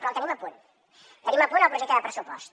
però el tenim a punt tenim a punt el projecte de pressupost